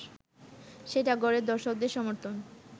সেটা ঘরের দর্শকদের সমর্থন